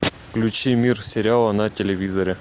включи мир сериала на телевизоре